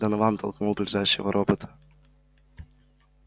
донован толкнул ближайшего робота